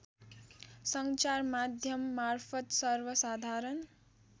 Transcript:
सञ्चारमाध्यम मार्फत सर्वसाधारण